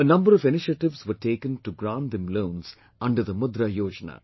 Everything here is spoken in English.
A number of initiatives were taken to grant them loans under Mudra Yojana